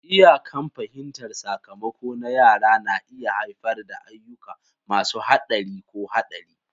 Iyakan fahimtar sakamako na yara na iya haifar da ayyuka masu haɗari ko haɗari.